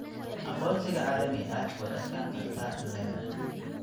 Aqoonsiga caalamiga ah way adkaan kartaa in la helo.